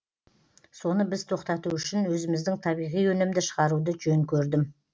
соны біз тоқтату үшін өзіміздің табиғи өнімді шығаруды жөн көрдім